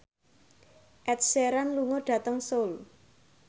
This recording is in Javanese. Ed Sheeran lunga dhateng Seoul